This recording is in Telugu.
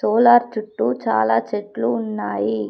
సోలార్ చుట్టూ చాలా చెట్లు ఉన్నాయి.